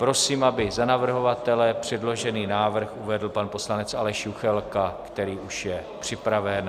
Prosím, aby za navrhovatele předložený návrh uvedl pan poslanec Aleš Juchelka, který už je připraven.